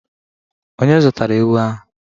Onye zụtara ewu ahụ?